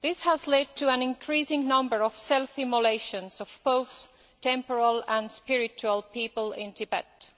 This has led to an increasing number of self immolations of both temporal and spiritual people in Tibet.